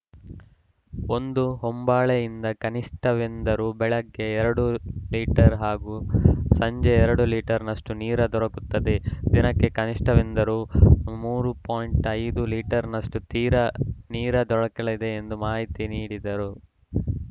ಒಂದು ಹೊಂಬಾಳೆಯಿಂದ ಕನಿಷ್ಠವೆಂದರೂ ಬೆಳಗ್ಗೆ ಎರಡು ಲೀಟರ್‌ ಹಾಗೂ ಸಂಜೆ ಎರಡು ಲೀಟರ್‌ನಷ್ಟುನೀರಾ ದೊರಕುತ್ತದೆ ದಿನಕ್ಕೆ ಕನಿಷ್ಠವೆಂದರೂ ಮೂರು ಪಾಯಿಂಟ್ ಐದು ಲೀಟರ್‌ನಷ್ಟು ತೀರ ನೀರಾ ದೊರಕಲಿದೆ ಎಂದು ಮಾಹಿತಿ ನೀಡಿದರು